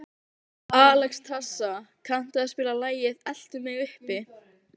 Alexstrasa, kanntu að spila lagið „Eltu mig uppi“?